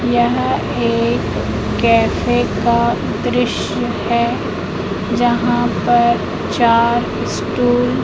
यह एक कैफे का दृश्य है जहाँ पर चार स्टूल --